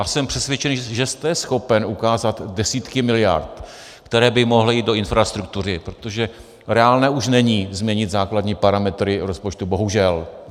A jsem přesvědčen, že jste schopen ukázat desítky miliard, které by mohly jít do infrastruktury, protože reálné už není změnit základní parametry rozpočtu, bohužel.